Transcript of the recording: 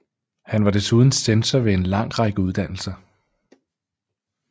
Han var desuden censor ved en lang række uddannelser